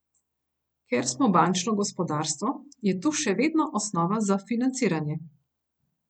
Ker smo bančno gospodarstvo, je tu še vedno osnova za financiranje.